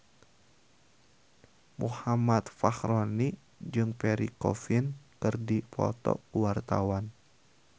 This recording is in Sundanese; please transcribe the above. Muhammad Fachroni jeung Pierre Coffin keur dipoto ku wartawan